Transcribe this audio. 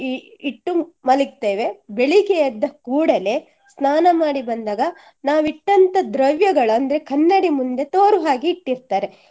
ಇಟ್ಟು ಮಲಗ್ತೇವೆ ಬೆಳಿಗ್ಗೆ ಎದ್ದ ಕೂಡಲೇ ಸ್ನಾನ ಮಾಡಿ ಬಂದಾಗ ನಾವು ಇಟ್ಟಂತ ದ್ರವ್ಯಗಳು ಅಂದ್ರೆ ಕನ್ನಡಿ ಮುಂದೆ ತೋರುಹಾಗೆ ಇಟ್ಟಿರ್ತಾರೆ.